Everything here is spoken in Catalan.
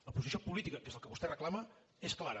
la posició política que és el que vostè reclama és clara